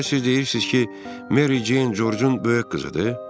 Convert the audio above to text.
Deməli siz deyirsiz ki, Meri Ceyn Corcun böyük qızıdır?